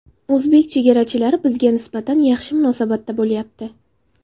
O‘zbek chegarachilari bizga nisbatan yaxshi munosabatda bo‘lyapti.